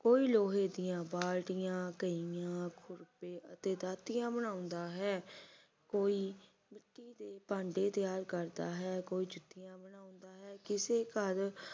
ਕੋਈ ਲੋਹੇ ਦੀਆਂ ਬਾਲਟੀਆਂ ਕਹੀਆਂ ਖੁਰਪੇ ਅਤੇ ਦਾਤਰੀਆਂ ਬਣਾਉਂਦਾ ਹੈ ਕੋਈ ਮਿੱਟੀ ਦੇ ਭਾਂਡੇ ਤਿਆਰ ਕਰਦਾ ਹੈ ਕੋਈ ਜੁੱਤੀਆਂ ਬਣਾਉਂਦਾ ਹੈ ਕਿਸੇ ਘਰ